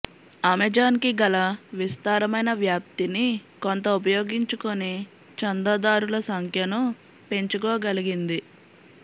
అమెజాన్కి గల విస్తారమైన వ్యాప్తిని కొంత ఉపయోగించుకుని చందాదారుల సంఖ్యను పెంచుకోగలిగింది